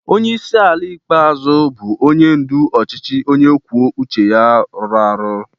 Onye isi ala ikpeazụ bụ onye ndu ọchịchị onye kwuo uche ya rụrụ arụ